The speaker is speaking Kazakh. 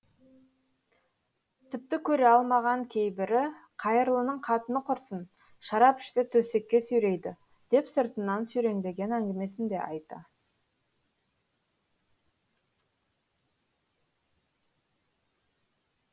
тіпті көре алмаған кейбірі қайырлының қатыны құрысын шарап ішсе төсекке сүйрейді деп сыртынан сүйреңдеген әңгімесін де айта